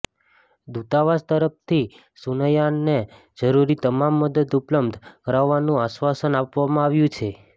દૂતાવાસ તરફથી સુનયનાને જરૂરી તમામ મદદ ઉપલબ્ધ કરાવવાનું આશ્વાસન આપવામાં આવ્યું છે